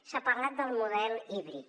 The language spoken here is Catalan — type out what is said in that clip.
s’ha parlat del model híbrid